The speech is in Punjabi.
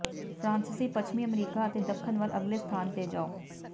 ਫਰਾਂਸੀਸੀ ਪੱਛਮੀ ਅਮਰੀਕਾ ਅਤੇ ਦੱਖਣ ਵੱਲ ਅਗਲੇ ਸਥਾਨ ਤੇ ਜਾਓ